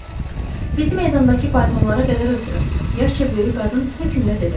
Bizi meydandakı faytonlara qədər ötürün, yaşca böyük qadın hökmlə dedi.